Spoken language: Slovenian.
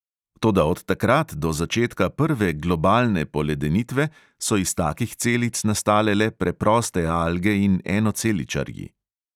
Toda od takrat do začetka prve globalne poledenitve so iz takih celic nastale le preproste alge in enoceličarji.